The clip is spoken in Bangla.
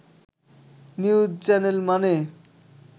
নিউজ চ্যানেল মানে